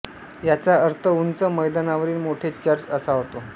याचा अर्थ उंच मैदानावरील मोठे चर्च असा होतो